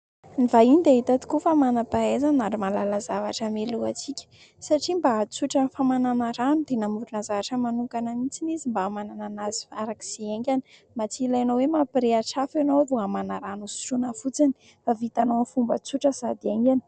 Ny vahiny dia hita tokoa fa manam-pahaizana ary mahalala zavatra mialohantsika satria mba ahatsotra ny famanana rano dia namorona zavatra manokana mihitsy izy mba hamanana azy farak'izay haingana mba tsy ilaina hoe mampirehitra afo ianao vao hamana rano hosotroina fotsiny fa vitanao amin'ny fomba tsotra sady haingana.